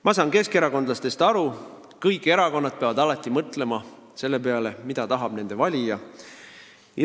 Ma saan keskerakondlastest aru: kõik erakonnad peavad alati mõtlema selle peale, mida tahab nende valija.